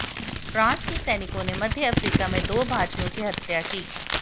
France के सैनिकों ने मध्य अफ्रीका में दो भारतीयों की हत्या की